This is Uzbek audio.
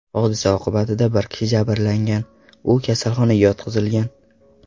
Hodisa oqibatida bir kishi jabrlangan, u kasalxonaga yotqizilgan.